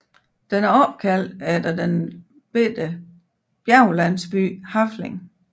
Den er opkaldt efter den lille bjerglandsby Hafling